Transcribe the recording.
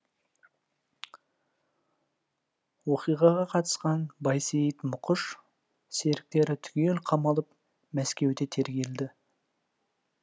оқиғаға қатысқан байсейіт мұқыш серіктері түгел қамалып мәскеуде тергелді